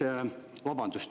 Vabandust!